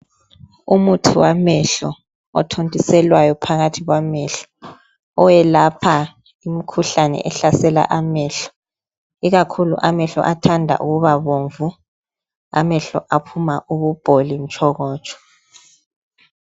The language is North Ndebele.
Umuthi wamehlo othintiselwayo phakathi kwamehlo, owelapha imikhuhlane ehlasela amehlo. Ikakhulu amehlo athanda ukubabomvu aphuma ububholi mtshokotsho.